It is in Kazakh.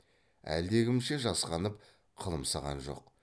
әлдекімше жасқанып қылымсыған жоқ